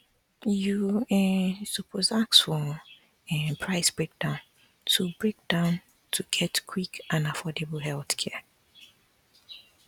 you um suppose ask for um price breakdown to breakdown to get quick and affordable healthcare